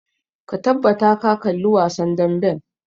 Ka tabbata ka kalli wasan damben!